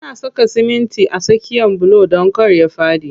Ana saka simitin a tsakiyan bulo don kar ya faɗi.